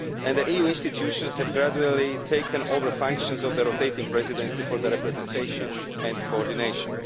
The EU institutions have gradually taken over the functions of the rotating Presidency for representation and coordination.